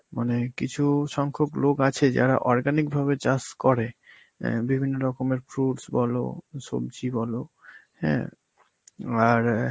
মানে কিছু সংখ্যক লোক আছে যারা organic ভাবে চাষ করে. অ্যাঁ বিভিন্ন রকমের fruits বলো, সবজি বলো, হ্যাঁ, আর অ্যাঁ